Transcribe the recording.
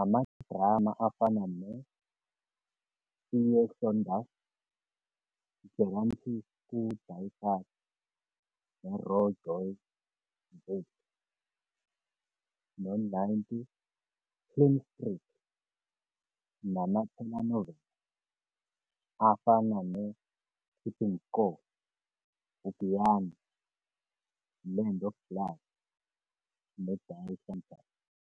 amadrama afana no-Erfsonders, Gerramtes ku-die Kas, Roer Jouy Voete no-90 Plein Street, nama-Telenovelas afana ne-Keeping Score, Giyani- Land of Blood ne-Die Senturm.